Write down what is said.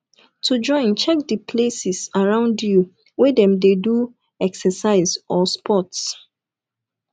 to join check di places around you wey dem dem de do exercise or sports